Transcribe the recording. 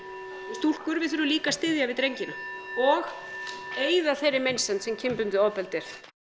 stúlkur við þurfum líka að styðja við drengina og eyða þeirri meinsemd sem kynbundið ofbeldi er